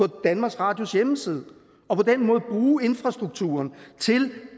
danmarks radios hjemmeside og på den måde bruge infrastrukturen til